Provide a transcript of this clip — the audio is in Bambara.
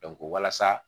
walasa